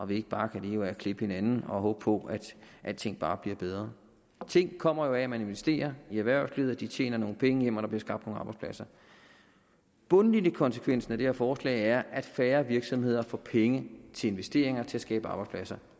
vi ikke bare kan leve af at klippe hinanden og håbe på at alting bare bliver bedre ting kommer jo af at man investerer i erhvervslivet og at de tjener nogle penge hjem og bliver skabt nogle arbejdspladser bundlinjekonsekvensen af det her forslag er at færre virksomheder får penge til investeringer til at skabe arbejdspladser